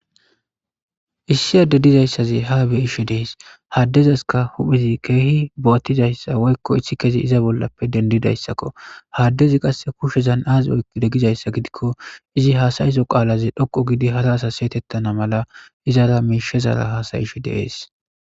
Issi adde dizaysazi haa be'ishe de'es ha addezaska huphezi keehi bo'atizayssa woyko isikezi iza bollappe dendidayssako ha addezi qase kushezan aazi oyqide gizayssa gidiko izi haasa'izo qaalazi dhoqqu giidi hara asas si'etetana mala izara miishezara haasa'ishe de'es.